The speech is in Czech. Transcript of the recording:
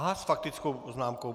Aha, s faktickou poznámkou.